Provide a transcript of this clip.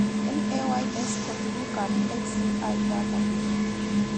LAYS ko tugukab HCI databe